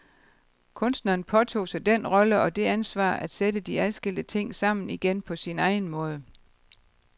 Kunstneren påtog sig den rolle og det ansvar at sætte de adskilte ting sammen igen på sin egen måde.